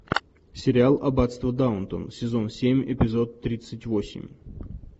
сериал аббатство даунтон сезон семь эпизод тридцать восемь